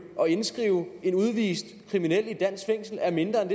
og indskrive en udvist kriminel i et dansk fængsel er mindre end